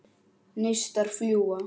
Neistar fljúga.